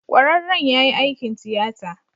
Kwararren ya yi aikin tiyata.